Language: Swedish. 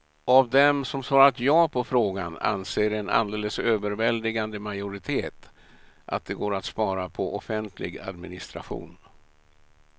Av dem som svarat ja på frågan anser en alldeles överväldigande majoritet att det går att spara på offentlig administration.